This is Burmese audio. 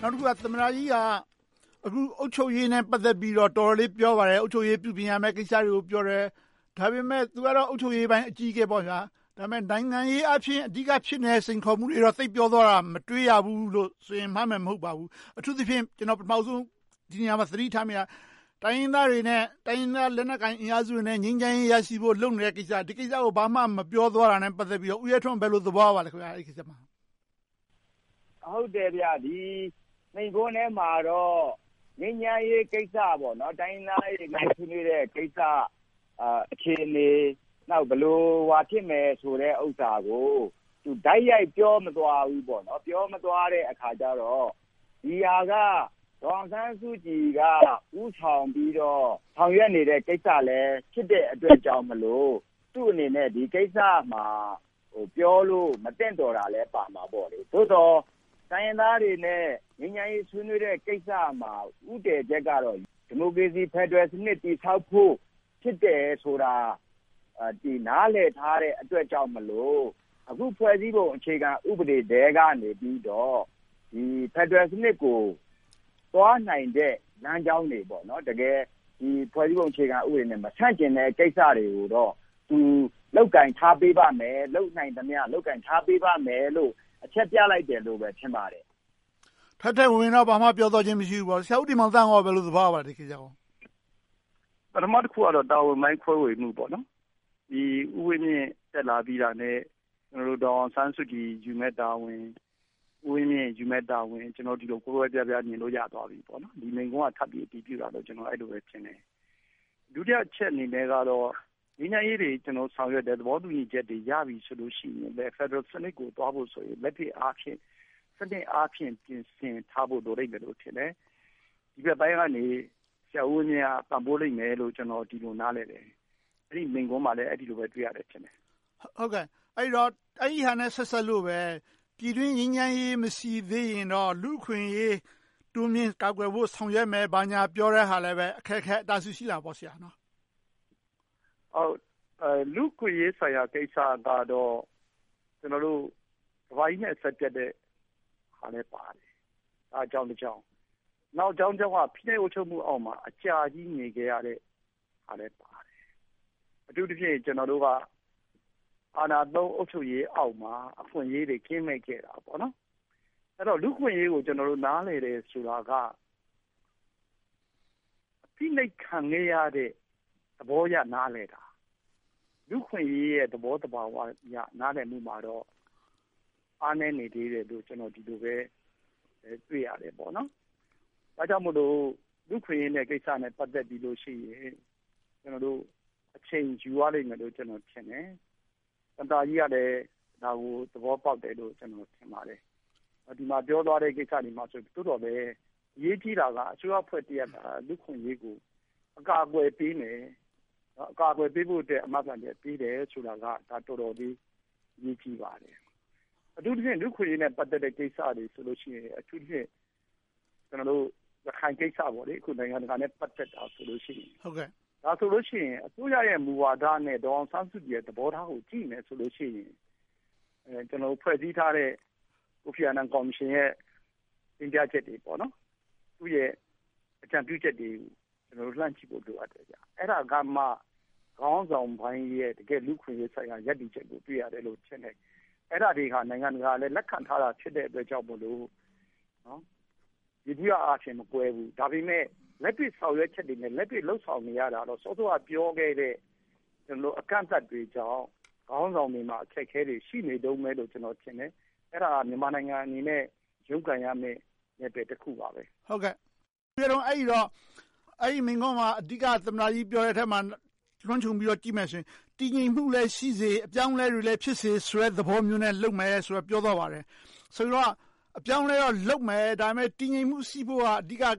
နောက်တခုက သမ္မတကြီးက အုပ်ချုပ်ရေးနဲ့ ပတ်သက်ပြီးတော့ တော်တော်လေး ပြောပါတယ်။ အုပ်ချုပ်ရေးကို ပြုပြင်ရမယ့်ကိစ္စတွေကို ပြောတယ်။ ဒါပေမဲ့ သူကတော့ အုပ်ချုပ်ရေးပိုင်း အကြီးအကဲဖြစ်ပေမယ့် နိုင်ငံရေးအာဖြင့် အဓိကဖြစ်နေတဲ့ စိန်ခေါ်မှုတွေကိုတော့ သိပ်ပြောသွားတာကို မတွေ့ရဘူးလို့ဆိုရင် မှားမယ်မဟုတ်ပါဘူး။ အထူးသဖြင့် ဒီနေရာမှာ ကျနော် သတိထားမိတာက တိုင်းရင်းသားတွေနဲ့ တိုင်းရင်းသား လက်နက်ကိုင်အင်အားစုတွေနဲ့ ငြိမ်းချမ်းရေးရရှိဖို့ လုပ်နေတဲ့ကိစ္စကို ဘာမှမပြောသွားတာနဲ့ ပတ်သက်လို့ ဦးရဲထွန်း ဘယ်လိုသဘောရပါသလဲ။ ဟုတ်တယ်.. ဒီမိန့်ခွန်းထဲမှာတော့ ငြိမ်းချမ်းရေးကိစ္စ၊ တိုင်းရင်းသားတွေ နိုင်ငံရေးဆွေးနွေးတဲ့ကိစ္စ အခြေအနေ၊ နောက် ဘယ်လို ဘာဖြစ်မလဲဆိုတာကို တိုက်ရိုက်ပြောမသွားဘူး။ ပြောမသွားတဲ့အခါကြတော့ ဒီဟာက ဒေါ်အောင်ဆန်းစုကြည်က ဦးဆောင်ပြီးတော့ ဆောင်ရွက်နေတဲ့ကိစ္စလည်း ဖြစ်တဲ့အတွက်ကြောင့်ဖြစ်လို့ သူ့အနေနဲ့ ဒီကိစ္စမှာ ပြောလို့မသင့်တော်တာလည်းပါမှာပေါ့။ သို့သော် တိုင်းရင်းသားတွေနဲ့ ငြိမ်းချမ်းရေးဆွေးနွေးတဲ့ကိစ္စမှာ ဦးတည်ချက်ကတော့ ဒီမိုကရေစီ ဖယ်ဒရယ်စနစ် တည်ဆောက်ဖို့ ဖြစ်တယ်ဆိုတာ နားလည်ထားတဲ့အတွက်ကြောင့်မို့ အခုဖွဲ့စည်းပုံ အခြေခံဥပဒေထဲကနေပြီးတော့ ဖယ်ဒရယ်စနစ်ကို သွားနိုင်တဲ့ လမ်းကြောင်းတွေ။ တကယ်ဖွဲ့စည်းပုံအခြေခံနဲ့ မဆန့်ကျင်တဲ့ကိစ္စတွေကိုတော့ သူ လုပ်ကိုင်ထားပေးပါမယ်။ လုပ်နိုင်သမျှ လုပ်ကိုင်ထားပေးပါမယ်လို့ အချက်ပြလိုက်တယ်လို့ပဲ ထင်ပါတယ်။ ထဲထဲဝင်ဝင်တော့ ဘာမှပြောဆိုသွားခြင်း မရှိဘူးပေါ့။ ဒီကိစ္စကို ဆရာဦးတင်မောင်သန်း ဘယ်လို သဘောရပါလဲ။ ပထမတခုကတော့ တာဝန်ပိုင်း ခွဲဝေမှု။ ဦးဝင်းမြင့် တက်လာပြီးတာနဲ့ ဒေါ်အောင်ဆန်းစုကြည် ယူမယ့်တာဝန်၊ ဦးဝင်းမြင့်ယူမယ့်တာဝန်တွေကို ဒီလို ကွဲကွဲပြားပြား မြင်လို့ရသွားပြီ။ ဒီမိန့်ခွန်းက ထပ်ပြီးအတည်ပြုတာလို့ပဲ အဲဒီလိုမြင်တယ်။ ဒုတိယအချက်အနေနဲ့တော့ ငြိမ်းချမ်းရေးတွေ ဆောင်ရွက်တယ်။ သဘောတူညီချက်တွေ ရပြီဆိုလို့ရှိရင်လဲ ဖယ်ဒရယ်စနစ်ကို သွားဖို့ဆိုရင် လက်တွေ့အားဖြင့် စနစ်အားဖြင့် ပြင်ဆင်ထားဖို့ လိုလိမ့်မယ်လို့ထင်တယ်။ ဒီဘက်ပိုင်းကနေ ဆရာဦးဝင်းမြင့်က ပံ့ပိုးလိမ့်မယ်လို့ ကျနော် အဲဒီလို နားလည်တယ်။ အဲဒီမိန့်ခွန်းမှာလည်း အဲဒီလိုပဲ တွေ့ရတယ်ထင်တယ်။ အဲဒီတော့ အဲဒီဟာနဲ့ ဆက်စပ်လို့ပဲ ပြည်တွင်းငြိမ်းချမ်းရေး မရှိသေးရင်တော့ လူ့အခွင့်အရေး တိုးမြှင့်ကာကွယ်ဆောင်ရွက်မယ်၊ ဘာညာပြောတဲ့ဟာလဲ အခက်အခဲ အတားအဆီး ရှိလာတာပေါ့ ဆရာ။ လူ့အခွင့်အရေးဆိုင်ရာကိစ္စကတော့ ကမ္ဘာကြီးနဲ့ အဆက်ပြတ်တဲ့ဟာနဲ့လည်းပါတယ်။ အဲဒါက အကြောင်းတကြောင်း။ နှစ်တကြောင်းက ဖိနှိပ်အုပ်ချုပ်မှုအောက်မှာ အကြာကြီးနေခဲ့ရတဲ့ဟာလည်းပါတယ်။ အထူးသဖြင့် ကျနော်တို့က အာဏာသုံး အုပ်ချုပ်ရေးအောက်မှာ အခွင့်အရေးတွေ ကင်းမဲ့ခဲ့တာ။ လူ့အခွင့်အရေးကို ကျနော်တို့ နားလည်တယ်ဆိုတာက ဖိနှိပ်ခံခဲ့ရတဲ့ သဘောအရ နားလည်တာ။ လူ့အခွင့်အရေးရဲ့ သဘောသဘာဝအရ နားလည်မှုမှာတော့ အားနည်းနေသေးတယ်လို့ ကျနော် ဒီလိုပဲ တွေ့ရတယ်။ ဒါကြောင့်မို့ လူ့အခွင့်အရေးကိစ္စနဲ့ ပတ်သက်လို့ရှိရင် အချိန်ယူရလိမ့်မယ်လို့ ကျနော် ထင်တယ်။ သမ္မတကြီးကလည်း ဒါကို သဘောပေါက်တယ်လို့ ကျနော် ထင်ပါတယ်။ ဒီမှာပြောသွားတဲ့ ကိစ္စတွေမှာ သို့သော်လဲ အရေးကြီးတာက အစိုးရအဖွဲ့အစည်းတရပ်က လူ့အခွင့်အရေးကို အကာအကွယ်ပေးမယ်။ အကာအကွယ်ပေးဖို့အတွက် အာမခံချက် ပေးတယ်ဆိုတာက တော်တော်လေး အရေးကြီးပါတယ်။ အထူးသဖြင့် လူ့အခွင့်အရေးနဲ့ ပတ်သက်တဲ့ ကိစ္စတွေဆိုလို့ရှိရင် အထူးသဖြင့် ကျနော်တို့ ရခိုင်ကိစ္စ - နိုင်ငံတကာနဲ့ ပတ်သက်နေတဲ့ ကိစ္စဆိုရင် အစိုးရရဲ့ မူဝါဒနဲ့ ဒေါ်အောင်ဆန်းစုကြည်ရဲ့ သဘောထားကို ကြည့်မယ်ဆိုရင် ဖွဲ့စည်းထားတဲ့ ကိုဖီအာနန် ကော်မရှင်ရဲ့ တင်ပြချက်တွေ။ သူ့ရဲ့ အကြံပြုချက်တွေကို လှမ်းကြည့်ဖို့ လိုအပ်တယ်။ အဲဒါကမှ ခေါင်းဆောင်ပိုင်းရဲ့ တကယ့်လူ့အခွင့်အရေးဆိုင်ရာ ရပ်တည်ချက်ကို တွေ့ရမယ်လို့ ထင်တယ်။ အဲဒါတွေကလဲ နိုင်ငံတကာက လက်ခံထားတာဖြစ်တဲ့အတွက်ကြောင့်မို့ ယေဘုယျအားဖြင့် မကွဲဘူး။ ဒါပေမဲ့ လက်တွေ့ဆောင်ရွက်ချက်တွေနဲ့ လက်တွေ့လုပ်ဆောင်နေရတာတော့ စောစောက ပြောခဲ့တဲ့ အကန့်အသတ်တွေကြောင့် ခေါင်းဆောင်တွေမှာ အခက်အခဲတွေ ရှိနေတုန်းပဲလို့ ကျနော် ထင်တယ်။ အဲဒါဟာ မြန်မာနိုင်ငံအနေနဲ့ လုပ်ကိုင်ရမယ့် နယ်ပယ်တခုပါ။ အဲဒီတော့ အဲဒီမိန့်ခွန်းမှာ အဓိက သမ္မတကြီး ပြောတာကို လွှမ်းခြုံကြည့်လိုက်ရင် တည်ငြိမ်မှုလည်းရှိစေ၊ အပြောင်းအလဲတွေလည်း ဖြစ်စေဆိုတဲ့ သဘောမျိုးနဲ့ လုပ်နေမယ်လို့ ပြောသွားပါတယ်။ ဆိုတော့ အပြောင်းအလဲတော့လုပ်မယ်။ ဒါပေမဲ့ တည်ငြိမ်မှု ရှိဖို့က အဓိက - အ